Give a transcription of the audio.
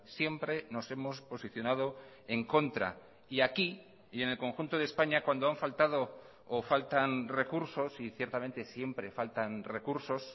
siempre nos hemos posicionado en contra y aquí y en el conjunto de españa cuando han faltado o faltan recursos y ciertamente siempre faltan recursos